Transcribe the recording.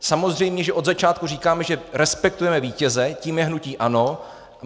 Samozřejmě, že od začátku říkáme, že respektujeme vítěze, tím je hnutí ANO.